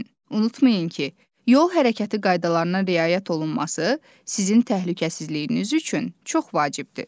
Unutmayın ki, yol hərəkəti qaydalarına riayət olunması sizin təhlükəsizliyiniz üçün çox vacibdir.